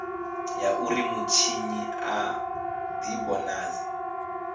ya uri mutshinyi a divhonadze